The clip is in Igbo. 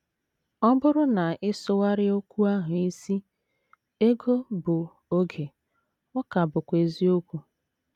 Ọ bụrụ na ị sụgharịa okwu ahụ isi ego bụ oge ọ ka bụkwa eziokwu.